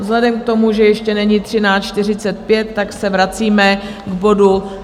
Vzhledem k tomu, že ještě není 13.45, tak se vracíme k bodu